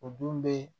O don be